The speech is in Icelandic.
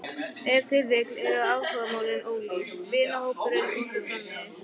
Ef til vill eru áhugamálin ólík, vinahópurinn og svo framvegis.